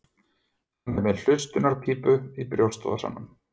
Hann er með hlustunarpípu í brjóstvasanum.